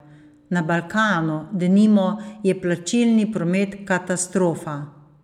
Na Balkanu, denimo, je plačilni promet katastrofa.